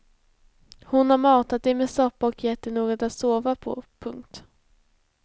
Hon har matat dig med soppa och gett dig något att sova på. punkt